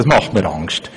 Das macht mir Angst.